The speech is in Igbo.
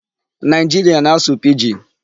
Nigeria na-asụ 'Pidgin'